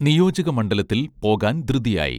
നിയോജക മണ്ഢലത്തിൽ പോകാൻ ധൃതിയായി